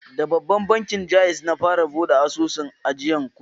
Da bankin Ja'iz na fara buɗe asusun ajiyan kuɗi.